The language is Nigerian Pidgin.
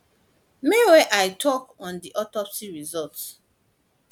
may wia im tok on di autopsy result